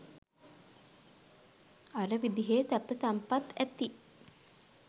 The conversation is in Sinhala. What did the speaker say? අර විදිහේ සැප සම්පත් ඇති